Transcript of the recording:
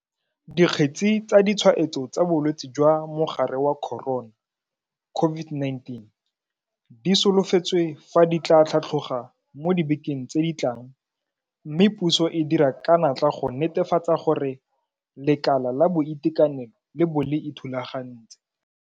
Dikgetse tsa ditshwaetso tsa bolwetse jwa mogare wa corona COVID-19 di solofetswe fa di tla tlhatloga mo dibekeng tse di tlang mme puso e dira ka natla go netefatsa gore lekala la boitekanelo le bo le ithulagantse.